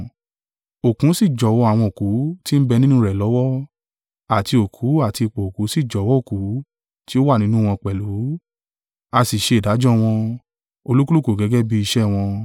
Òkun sì jọ̀wọ́ àwọn òkú tí ń bẹ nínú rẹ̀ lọ́wọ́; àti òkú àti ipò òkú sì jọ̀wọ́ òkú tí ó wà nínú wọn pẹ̀lú: a sì ṣe ìdájọ́ wọn, olúkúlùkù gẹ́gẹ́ bí iṣẹ́ wọn.